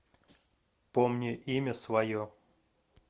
помни имя свое